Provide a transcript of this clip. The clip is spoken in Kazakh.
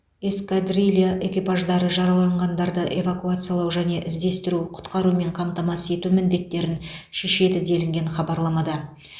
эскадрилья экипаждары жараланғандарды эвакуациялау және іздестіру құтқарумен қамтамасыз ету міндеттерін шешеді делінген хабарламада